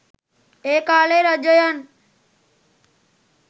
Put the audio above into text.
ඒ කා‍ලේ රජයයන්